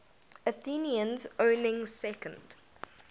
athenians owning second